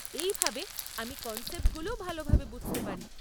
এইভাবে আমি কনসেপ্টগুলোও ভালভাবে বুঝতে পারি।